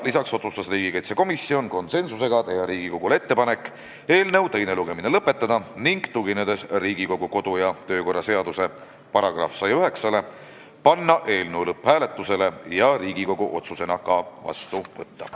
Lisaks otsustas komisjon konsensusega teha ettepaneku eelnõu teine lugemine lõpetada ning tuginedes Riigikogu kodu- ja töökorra seaduse §-le 109, panna eelnõu lõpphääletusele ja Riigikogu otsusena vastu võtta.